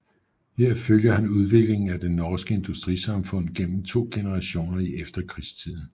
Her følger han udviklingen af det norske industrisamfund gennem to generationer i efterkrigstiden